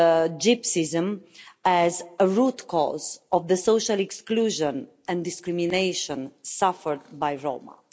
anti-Gypsyism as a root cause of the social exclusion and discrimination suffered by Roma.